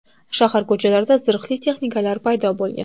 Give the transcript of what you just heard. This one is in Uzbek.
Shahar ko‘chalarida zirhli texnikalar paydo bo‘lgan.